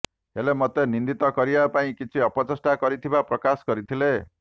ହେଲେ ମୋତେ ନିନ୍ଦିତ କରିବା ପାଇଁ କିଛି ଅପଚେଷ୍ଟା କରିଥିବା ପ୍ରକାଶ କରିଥିଲେ